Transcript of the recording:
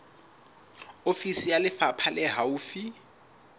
ofisi ya lefapha le haufi